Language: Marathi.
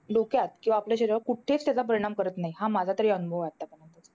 डोक्यात किंवा आपल्या शरीरावर कुठेच त्याचा परिणाम करत नाही. हा माझा तरी अनुभव आहे आतापर्यंत.